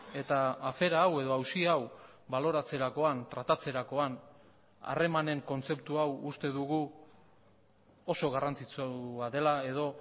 eta afera hau edo auzi hau baloratzerakoan tratatzerakoan harremanen kontzeptu hau uste dugu oso garrantzitsua dela edo